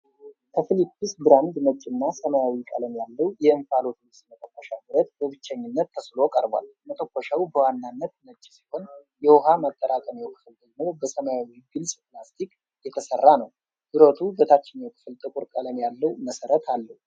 ከፊሊፕስ ብራንድ ነጭና ሰማያዊ ቀለም ያለው የእንፋሎት ልብስ መተኮሻ ብረት በብቸኝነት ተስሎ ቀርቧል። መተኮሻው በዋናነት ነጭ ሲሆን፣ የውኃ ማጠራቀሚያው ክፍል ደግሞ በሰማያዊ ግልፅ ፕላስቲክ የተሰራ ነው። ብረቱ በታችኛው ክፍል ጥቁር ቀለም ያለው መሠረት አለው።